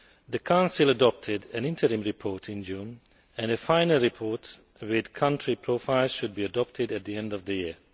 The Council adopted an interim report in June and a final report with country profiles should be adopted at the end of the year.